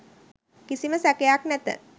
කිසිම සැකයක් නැත.